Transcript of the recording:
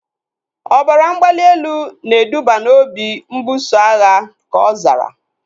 Ọbara mgbali elu na eduba na obi mbuso agha, ka ọ zara